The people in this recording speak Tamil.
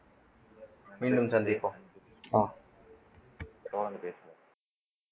மீண்டும் சந்திப்போம் அஹ் தொடர்ந்து பேசுவோம்